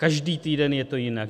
Každý týden je to jinak.